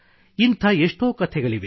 ಇಂಥ ಎಷ್ಟೋ ಕಥೆಗಳಿವೆ